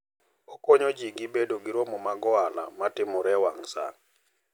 Okonyo ji bedo gi romo mag ohala ma timore e wang' sa.